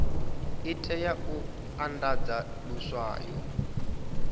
i tea u andadza luswayo